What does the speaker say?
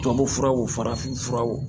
Tubabufuraw farafin furaw